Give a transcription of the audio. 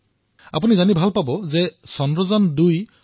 আপুনি এয়া জানি সুখী হব যে চন্দ্ৰায়ন২ত সম্পূৰ্ণ ভাৰতীয় ৰং বুলোৱা হৈছে